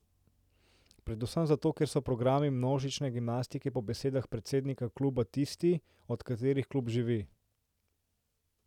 Predvsem zato, ker so programi množične gimnastike po besedah predsednika kluba tisti, od katerih klub živi.